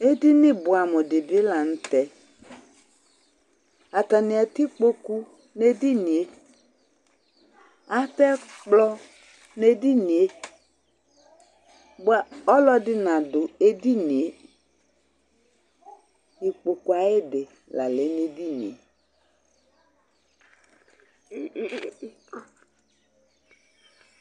Edini buɛamu di bi la n'tɛ, atani atɛ ikpoku n'edinìe, atɛ ɛkplɔ n'edinìe bua ɔluɛdi nadu edinìe ikpoku ayidi la lɛ n'edinìe